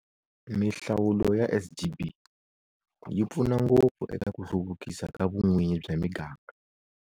Mihlawulo ya SGB yi pfuna ngopfu eka ku hluvukisa ka vun'winyi bya miganga.